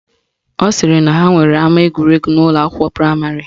Ọ sịrị na ha nwere ama egwuregwu n'ụlọakwụkwọ praịmarị